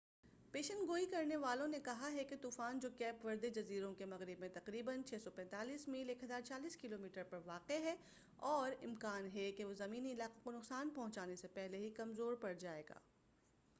پیشن گوئی کرنے والوں نے کہا ہے کہ طوفان جو کیپ وردے جزیروں کے مغرب میں تقریبا 645 میل 1040 کلومیٹر پر واقع ہے، اور امکان ہے کہ وہ زمینی علاقوں کو نقصان پہنچانے سے پہلے ہی کمزور پڑ جائے گا۔